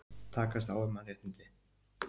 Takast á um mannréttindi